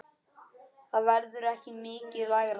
Það verður ekki mikið lægra.